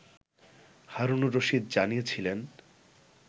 হারুনুর রশিদ জানিয়েছিলেন